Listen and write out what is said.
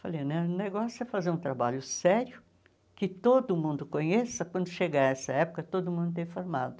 Falei, o ne negócio é fazer um trabalho sério, que todo mundo conheça, quando chegar essa época, todo mundo está informado.